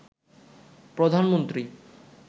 প্রধানমন্ত্রী